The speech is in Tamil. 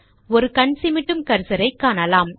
ஒரு கண் சிமிட்டும் கர்சரை காணலாம்